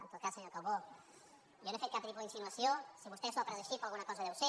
en tot cas senyor calbó jo no he fet cap tipus d’insinuació si vostès s’ho ha pres així per alguna cosa deu ser